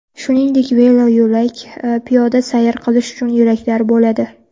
Shuningdek, veloyo‘lak, piyoda sayr qilish uchun yo‘laklar bo‘ladi.